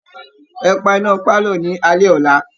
Ẹ pa iná pálọ̀ ní alẹ́ ọ̀la!